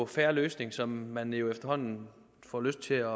fair løsning som man jo efterhånden får lyst til at